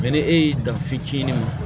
Mɛ ni e y'i dan fitinin ma